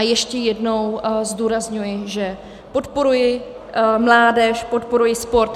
A ještě jednou zdůrazňuji, že podporuji mládež, podporuji sport.